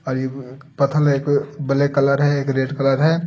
और ये पथल एक ब्लैक कलर है एक रेड कलर है।